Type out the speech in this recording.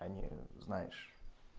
они знаешь